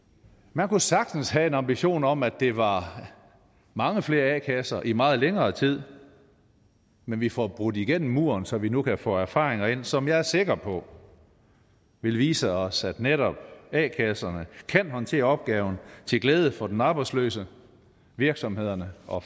man kunne sagtens have en ambition om at det var mange flere a kasser i meget længere tid men vi får brudt igennem muren så vi nu kan få erfaringer ind som jeg er sikker på vil vise os at netop a kasserne kan håndtere opgaven til glæde for den arbejdsløse virksomhederne og